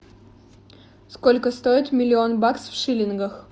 сколько стоит миллион баксов в шиллингах